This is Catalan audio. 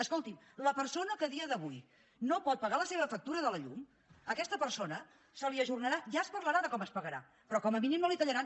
escoltin la persona que a dia d’avui no pot pagar la seva factura de la llum a aquesta persona se li ajornarà ja es parlarà de com es pagarà però com a mínim no la hi tallaran